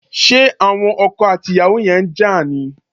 Ṣé àwon okò àti ìyàwó yen n ja ni?